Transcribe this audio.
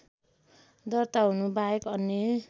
दर्ता हुनुबाहेक अन्य